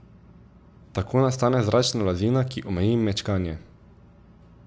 Tako nastane zračni blazina, ki omeji mečkanje.